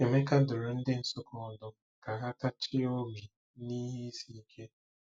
Emeka dụrụ ndị Nsukka ọdụ ka ha “tachie obi n'ihe isi ike.”